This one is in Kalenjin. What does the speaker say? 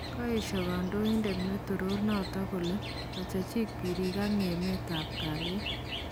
Kaesho kandoindet netoror notok kole machechik birik ak ngemet ab kalyet.